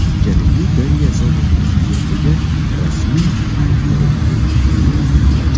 Janubiy Koreya sobiq prezidentiga rasmiy ayblov e’lon qilindi.